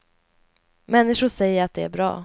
Människor säger att det är bra.